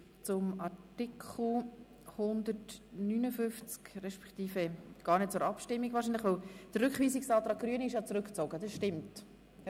Der Rückweisungsantrag der Grünen ist zurückgezogen worden.